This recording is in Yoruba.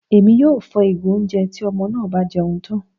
Èmí yóò fò igo oúnjẹ tí ọmọ náà bá jẹun tán